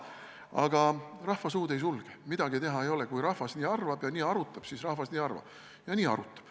Aga rahva suud ei sulge – midagi teha ei ole, kui rahvas nii arvab ja nii arutab, siis rahvas nii arvab ja nii arutab.